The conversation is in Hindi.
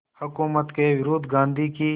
हुकूमत के विरुद्ध गांधी की